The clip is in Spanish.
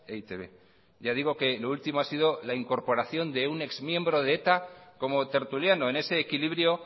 e i te be ya digo que lo último ha sido la incorporación de un ex miembro de eta como tertuliano en ese equilibrio